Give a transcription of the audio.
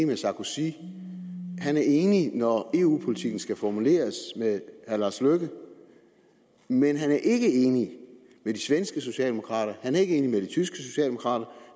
med sarkozy og han er enig når eu politikken skal formuleres med herre lars løkke men han er ikke enig med de svenske socialdemokrater han er ikke enig med de tyske socialdemokrater og